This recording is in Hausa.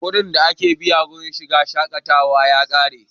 kuɗin da ake biya wajen shiga shaƙatawa ya ƙaru